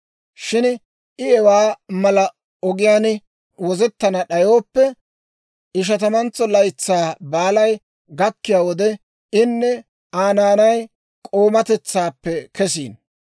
« ‹Shin I hewaa mala ogiyaan wozettana d'ayooppe, Ishatamantso Laytsaa Baalay gakkiyaa wode inne Aa naanay k'oomatetsaappe kesino.